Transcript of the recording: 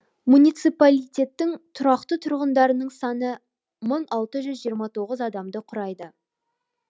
муниципалитеттің тұрақты тұрғындарының саны мың алты жүз жиырма тоғыз адамды құрайды